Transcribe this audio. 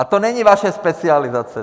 A to není vaše specializace.